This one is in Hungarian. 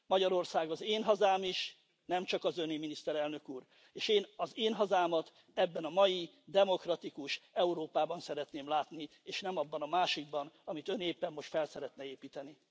Magyarország az én hazám is, nem csak az Öné, Miniszterelnök Úr, és én az én hazámat ebben a mai, demokratikus Európában szeretném látni, és nem abban a másikban, amit Ön éppen most fel szeretne építeni.